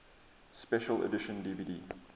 special edition dvd